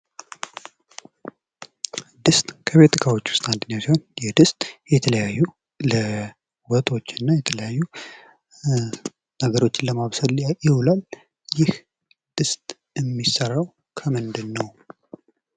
ድስት ከቤት እቃዎቹ ውስጥ አንደኛው ሲሆን የድስት የተለያዩ ለወጦች እና የተለያዩ ነገሮችን ለማብሰል ይውላል ። ይህ ድስት የሚሠራው ከምንድን ነው ?